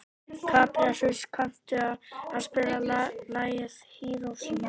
Kaprasíus, kanntu að spila lagið „Hiroshima“?